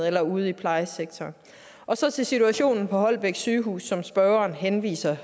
eller ude i plejesektoren så til situationen på holbæk sygehus som spørgeren henviser